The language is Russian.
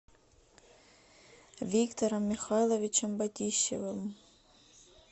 виктором михайловичем батищевым